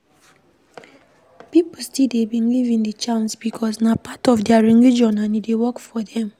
Pipo still dey believe in di charms because na part of their religion and e dey work for them